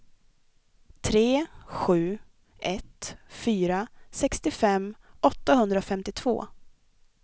tre sju ett fyra sextiofem åttahundrafemtiotvå